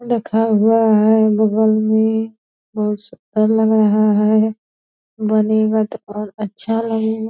रखा हुआ है बगल में बहुत छप्पर लगा हुआ है बनेगा तो और अच्छा लगेगा ।